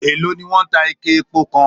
Èló ni wọ́n ń ta ike epo kan?